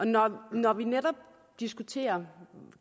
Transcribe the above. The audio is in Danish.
når når vi netop diskuterer